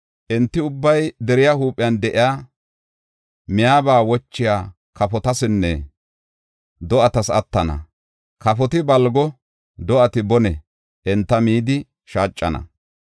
Enti ubbay deriya huuphiyan de7iya, miyaba wochiya kafotasinne do7atas attana. Kafoti balgon, do7ati bonen enta midi shaacana.